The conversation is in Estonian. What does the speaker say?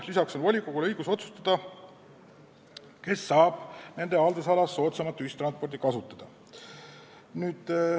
Lisaks on volikogul õigus otsustada, kes saab nende haldusalas soodsamalt ühistransporti kasutada.